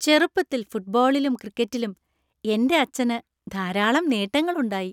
ചെറുപ്പത്തിൽ ഫുട്ബോളിലും ക്രിക്കറ്റിലും എന്‍റെ അച്ഛന് ധാരാളം നേട്ടങ്ങള്‍ ഉണ്ടായി.